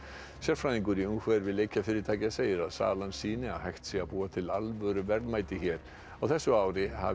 sérfræðingur í umhverfi leikjafyrirtækja segir að salan sýni að hægt sé að búa til alvöru verðmæti hér á þessu ári hafi